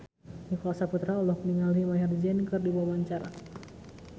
Nicholas Saputra olohok ningali Maher Zein keur diwawancara